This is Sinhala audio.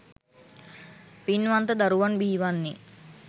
පින්වන්ත දරුවන් බිහිවන්නේ